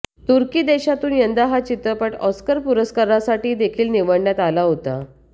तुर्की देशातून यंदा हा चित्रपट ऑस्कर पुरस्कारासाठी देखील निवडण्यात आला होता